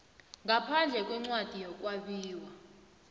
ngaphandle kwencwadi yokwabiwa